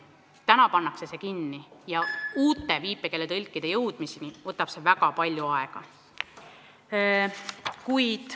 Õppekava pannakse kinni ja uute viipekeeletõlkide väljaõpetamiseni läheb õige palju aega.